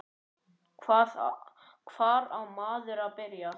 Hvar á maður að byrja?